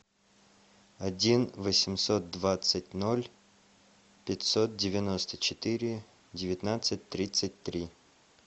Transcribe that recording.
один восемьсот двадцать ноль пятьсот девяносто четыре девятнадцать тридцать три